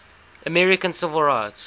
american civil rights